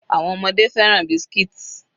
Àwọn ọmọdé fẹ́ràn biscuits.